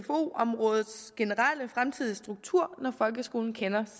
områdets generelle fremtidige struktur når folkeskolen kender